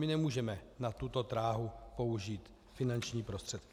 My nemůžeme na tuto dráhu použít finanční prostředky.